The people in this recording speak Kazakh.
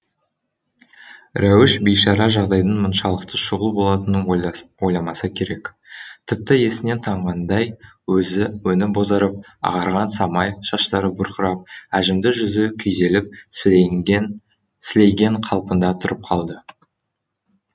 рәуіш бейшара жағдайдың мұншалықты шұғыл болатынын ойламаса керек тіпті есінен танғандай өңі бозарып ағарған самай шаштары бұрқырап әжімді жүзі күйзеліп сілейген қалпында тұрып қалды